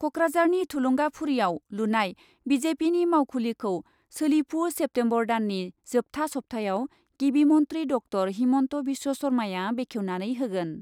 क'क्राझारनि थुलुंगाफुरियाव लुनाय बि जे पिनि मावखुलिखौ सोलिफु सेप्तेम्बर दाननि जोबथा सप्तायाव गिबि मन्थ्रि ड॰ हिमन्त बिश्व शर्माया बेखेवनानै होगोन।